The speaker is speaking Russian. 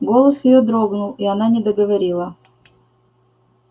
голос её дрогнул и она не договорила